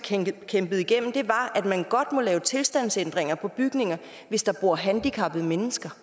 kæmpet igennem var at man godt må lave tilstandsændringer på bygninger hvis der bor handicappede mennesker